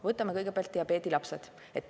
Võtame kõigepealt diabeedilapsed.